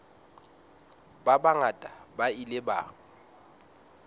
ba bangata ba ile ba